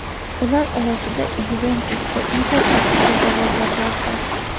Ular orasida "Yuventus" va "Inter" asosiy da’vogarlardir.